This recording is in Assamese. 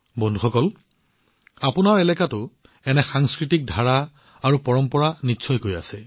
বন্ধুসকল আপোনালোকৰ অঞ্চলতো এনে সাংস্কৃতিক শৈলী আৰু পৰম্পৰা থাকিব